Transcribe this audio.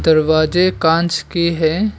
दरवाजें कांच के हैं।